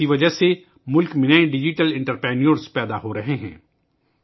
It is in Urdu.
اس کی وجہ سے ملک میں نئے ڈیجیٹل انٹرپرینیور پیدا ہو رہے ہیں